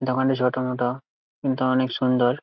দোকানটি ছোট মতো কিন্তু অনেক সুন্দর।